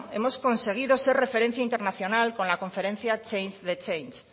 hemos conseguido ser referencia internacional con la conferencia change the change